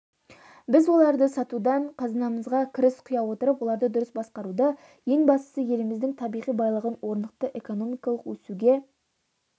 біз оларды сатудан қазынамызға кіріс құя отырып оларды дұрыс басқаруды ең бастысы еліміздің табиғи байлығын орнықты экономикалық өсуге